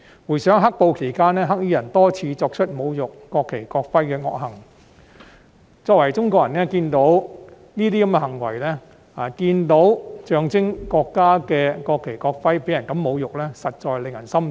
回想"黑暴"期間，"黑衣人"多次作出侮辱國旗、國徽的惡行，作為中國人，看到這些行為，以及看到象徵國家的國旗、國徽這樣被人侮辱，實在令人心痛。